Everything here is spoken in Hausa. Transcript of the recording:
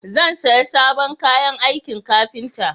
Zan saya sabon kayan aikin kafinta